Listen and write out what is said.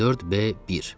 4B1.